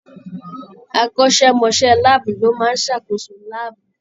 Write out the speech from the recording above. Akọ́ṣẹ́mọṣẹ́ láàbù ló máa ń ṣàkóso láàbù.